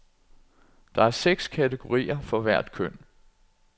Der er seks kategorier for hvert køn.